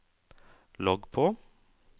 logg på